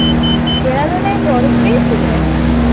দেরাদুনে বরফ পেয়েছিলে?